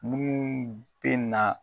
Munnu be na